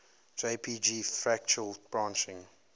jpg fractal branching